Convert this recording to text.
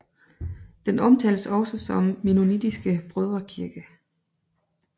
Den omtaltes også som mennonitiske brødrekirke